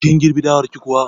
Kin girbi dawar ki kuwa?